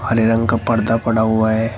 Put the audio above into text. हरे रंग का पर्दा पड़ा हुआ है।